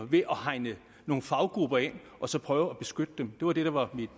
ved at hegne nogle faggrupper ind og så prøve at beskytte dem det var det der var